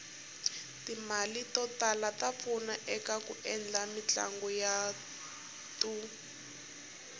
timale totala tapfuna ekaku endla mitlanguyatu